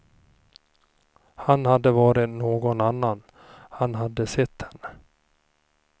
Han hade varit någon annan, han hade sett henne.